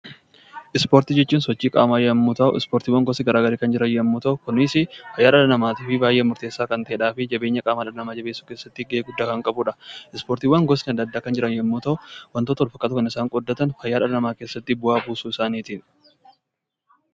Ispoortii jechuun sochii qaamaa yoo ta'u, ispoortiinis gosa garaagaraa kan jiran yemmuu ta'u, innis fayyaa namaatiif baayyee murteessaa, jabina qaamaafis gahee guddaa kan qabudha. Ispoortiiwwan gosni addaa addaa kan jiran yemmuu ta'u, waantota wal fakkaatoo kan isaan qooddatan fayyaa dhala namaa keessatti bu'aa buusuu isaatiini.